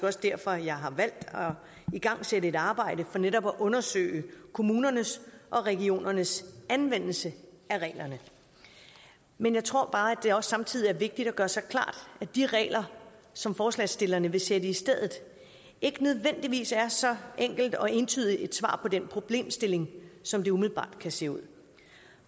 også derfor at jeg har valgt at igangsætte et arbejde for netop at undersøge kommunernes og regionernes anvendelse af reglerne men jeg tror bare at det også samtidig er vigtigt at gøre sig klart at de regler som forslagsstillerne vil sætte i stedet ikke nødvendigvis er så enkelt og entydigt et svar på den problemstilling som det umiddelbart kan se ud